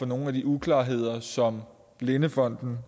nogle af de uklarheder som blindefonden